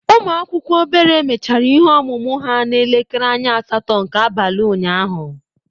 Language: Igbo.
Ụmụ akwụkwọ obere mechara ihe ọmụmụ ha n'elekere anya asatọ nke abalị unyaahụ.